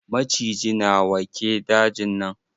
Maciji na wa ke dajin nan?